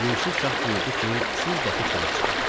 Yusif şah buyurdu ki, siz dəxi çölə çıxın.